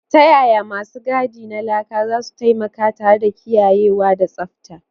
Ta yaya masu gadi na laka zasu taimaka tare da kiyayewa da tsabta?